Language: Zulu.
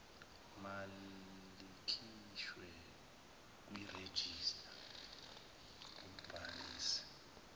malikhishwe kwirejista umbhalisi